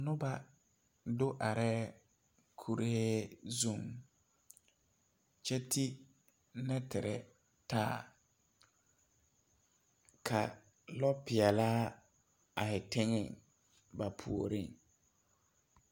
Noba do arɛɛ kuree zuŋ kyɛ te nɛteere taa ka lɔ peɛɛlaa aihi teŋɛŋ ba puoriŋ.